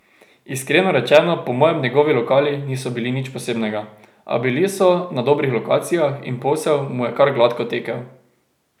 Iskreno rečeno, po mojem njegovi lokali niso bili nič posebnega, a bili so na dobrih lokacijah in posel mu je kar gladko tekel.